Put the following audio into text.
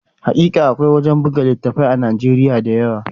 Hakika, akwai wuraren buga littattafai da yawa a Nijeriya